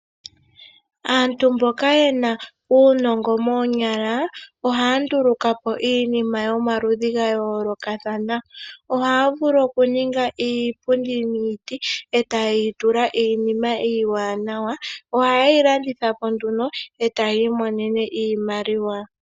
Aantu mboka yena uunongo moo yala ohaya ndulukapo iinima yomaludhi ga yoolokathana. Ohaya vulu okuninga iipundi miiti e tayeyi tula iinima iiwanawa .oha yehi landithapo nduno etaya imonene iimaliwa.